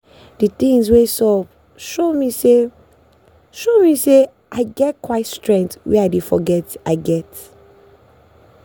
the things wey sup show me say show me say i get quiet strength wey i dey forget i get.